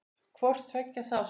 Hvort tveggja sást.